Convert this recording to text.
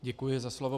Děkuji za slovo.